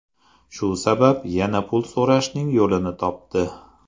Shu sabab yana pul so‘rashning yo‘lini topdi.